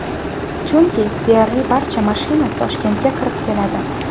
Chunki deyarli barcha mashina Toshkentga kirib keladi.